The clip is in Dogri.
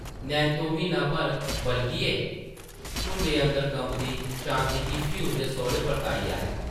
नैंत्तो म्हीन्ना भर बलगियै, झुंडै अंदर कंबदी शांति गी फ्ही उसदे सौह्रै परताई आया ।